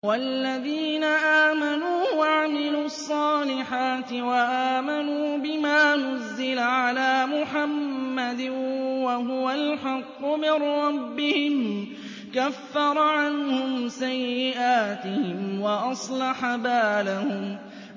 وَالَّذِينَ آمَنُوا وَعَمِلُوا الصَّالِحَاتِ وَآمَنُوا بِمَا نُزِّلَ عَلَىٰ مُحَمَّدٍ وَهُوَ الْحَقُّ مِن رَّبِّهِمْ ۙ كَفَّرَ عَنْهُمْ سَيِّئَاتِهِمْ وَأَصْلَحَ بَالَهُمْ